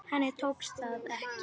Henni tókst það ekki.